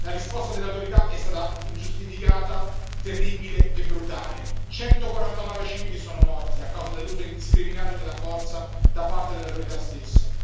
La risposta delle autorità è stata ingiustificata, terribile e brutale 149 civili sono morti a causa dell'uso indiscriminato della forza da parte delle autorità stesse.